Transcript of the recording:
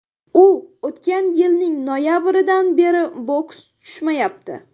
U o‘tgan yilning noyabridan beri boks tushmayapti.